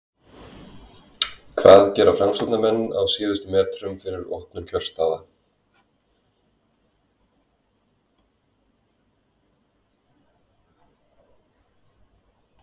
hvað gera framsóknarmenn á síðustu metrunum fyrir opnun kjörstaða?